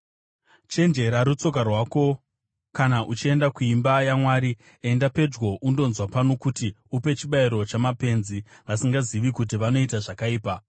Chenjerera rutsoka rwako kana uchienda kuimba yaMwari. Enda pedyo undonzwa pano kuti upe chibayiro chamapenzi, vasingazivi kuti vanoita zvakaipa.